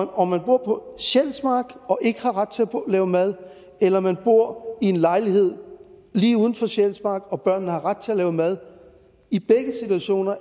om man bor på sjælsmark og ikke har ret til at lave mad eller man bor i lejlighed lige uden for sjælsmark og børnene har ret til at lave mad